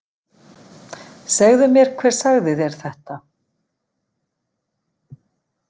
Segðu mér hver sagði þér þetta.